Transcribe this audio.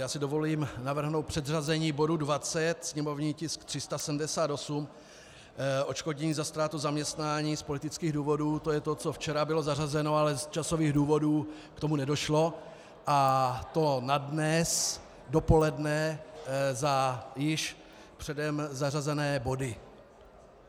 Já si dovolím navrhnout předřazení bodu 20, sněmovní tisk 378, odškodnění za ztrátu zaměstnání z politických důvodů, to je to, co včera bylo zařazeno, ale z časových důvodů k tomu nedošlo, a to na dnes dopoledne za již předem zařazené body.